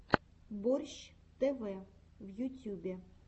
борщ тв в ютюбе